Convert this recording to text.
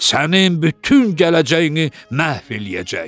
Sənin bütün gələcəyini məhv eləyəcək.